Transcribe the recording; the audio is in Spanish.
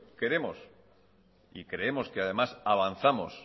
queremos y creemos que además avanzamos